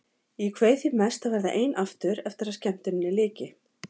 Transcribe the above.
Ég kveið því mest að verða ein aftur eftir að skemmtuninni lyki.